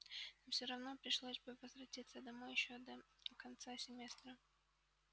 нам все равно пришлось бы возвратиться домой ещё до конца семестра